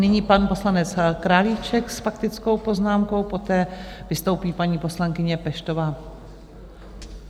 Nyní pan poslanec Králíček s faktickou poznámkou, poté vystoupí paní poslankyně Peštová.